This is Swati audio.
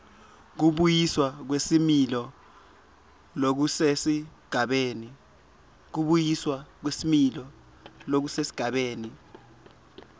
kubuyiswa kwesimilo lokusesigabeni